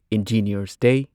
engineers ꯗꯦ